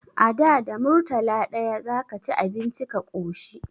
A da, da murtala ɗaya za ka ci abinci ka ƙoshi.